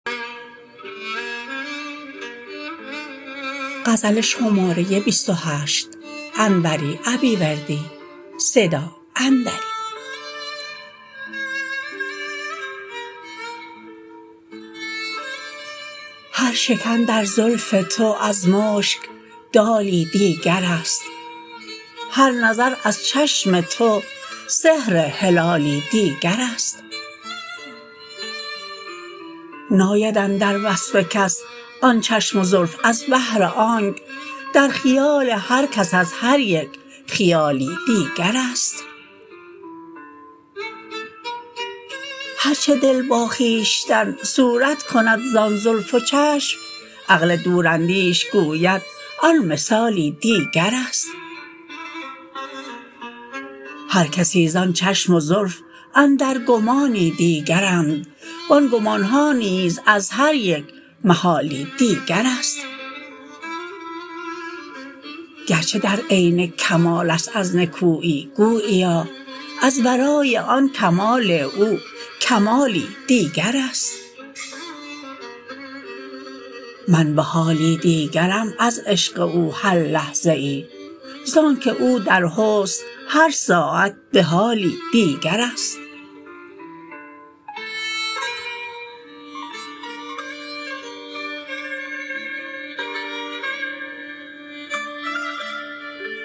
هر شکن در زلف تو از مشک دالی دیگرست هر نظر از چشم تو سحر حلالی دیگرست ناید اندر وصف کس آن چشم و زلف از بهر آنک در خیال هرکس از هریک خیالی دیگرست هرچه دل با خویشتن صورت کند زان زلف و چشم عقل دوراندیش گوید آن مثالی دیگرست هرکسی زان چشم و زلف اندر گمانی دیگرند وان گمانها نیز از هریک محالی دیگرست گرچه در عین کمالست از نکویی گوییا از ورای آن کمال او کمالی دیگرست من به حالی دیگرم از عشق او هر لحظه ای زانکه او در حسن هر ساعت به حالی دیگرست